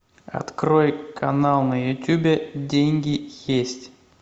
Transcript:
открой канал на ютубе деньги есть